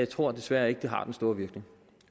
tror desværre ikke det har den store virkning